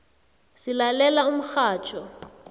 silalela umxhatjho